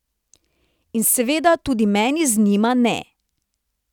In seveda tudi meni z njima ne.